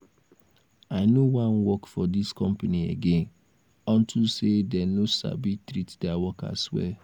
i no wan work for dis company again unto say dey no sabi treat their workers well